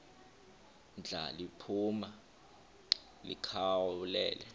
ndla liphuma likhawulele